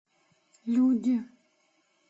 люди